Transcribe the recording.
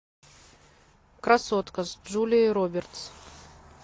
красотка с джулией робертс